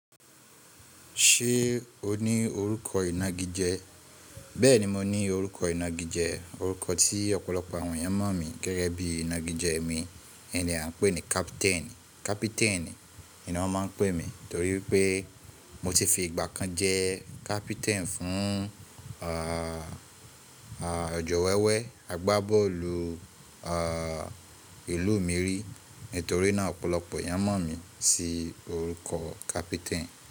Ṣé o ní orúkọ ìnagijẹ? Bẹ́ẹ̀ni mo ní orúkọ ìnagijẹ, orúkọ tí ọ̀pọ̀lọpọ̀ àwọn ènìyàn mọ̀ mi gẹ́gẹ́ bí ìnagijẹ mi. Ẹni à ń pè ní captain, captain ni wọ́n máa ń pè mí torí pé mo ti fi ìgbà kan jẹ́ captain fún, ah, ah, ọ̀jọ̀wẹ́wẹ́ agbábọ́ọ̀lù, ah, ìlú mi rí. Nítorí náà ọ̀pọ̀lọpọ̀ ènìyàn mọ̀ mí sí orúkọ captain.